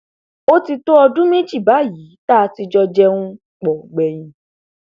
ó ti tó ọdún méjì báyìí tá a ti jọ jẹun pọ gbẹyìn